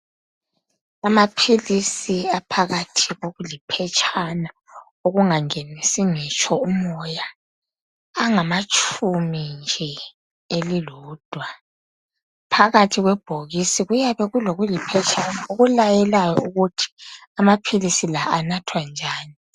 Amaphilizi aphakathi kokuliphetshana okungangenisi ngitsho umoya angamatshumi nje elilodwa phakathi kwebhokisi kuyabe kulokuliphetshana okulayelayo ukuthi amaphilizi la anathwa njani.